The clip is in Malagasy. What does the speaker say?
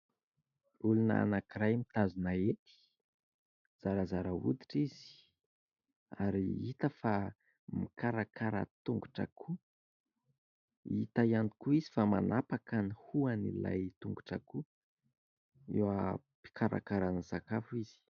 Olona anankiray mitazona hety. Zarazara hoditra izy ary hita fa mikarakara tongotr'akoho. Hita ihany koa izy fa manapaka ny hohon'ilay tongotr'akoho. Eo am-pikarakarana sakafo izy.